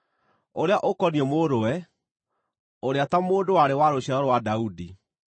ũrĩa ũkoniĩ Mũrũwe, ũrĩa ta mũndũ warĩ wa rũciaro rwa Daudi.